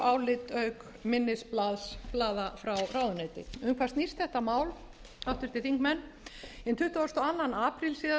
álit auk minnisblaða frá ráðuneyti um hvað snýst þetta mál háttvirtir þingmenn hinn tuttugasta og annan apríl